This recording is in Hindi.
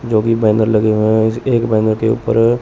जो कि बैनर लगे हुए हैं इस एक बैनर के ऊपर अं--